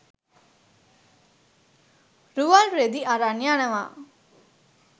රුවල් රෙදි අරන් යනවා